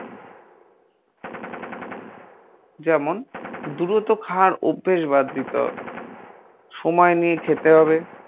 যেমন দ্রুত খাওয়ার অভ্যেস বাদ দিতে হবে, ‌ সময় নিয়ে খেতে হবে।